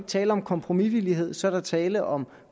tale om kompromisvillighed så er der tale om